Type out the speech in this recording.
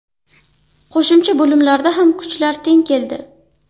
Qo‘shimcha bo‘limlarda ham kuchlar teng keldi.